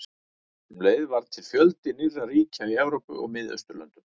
Um leið varð til fjöldi nýrra ríkja í Evrópu og Miðausturlöndum.